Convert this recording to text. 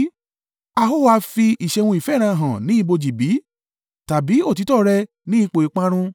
A ó ha fi ìṣeun ìfẹ́ rẹ hàn ní ibojì bí, tàbí òtítọ́ rẹ ní ipò ìparun?